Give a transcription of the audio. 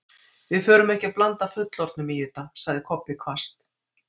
Við förum ekki að blanda fullorðnum í þetta, sagði Kobbi hvasst.